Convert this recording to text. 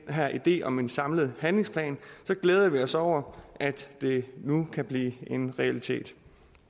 her idé om en samlet handlingsplan så glæder vi os over at det nu kan blive en realitet